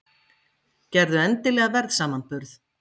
Gerðu endilega verðsamanburð!